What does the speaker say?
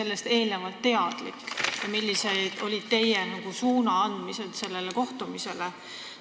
Kas te olite sellest teadlik ja kui jah, siis millised olid teie n-ö suunaandmised sellele kohtumisele?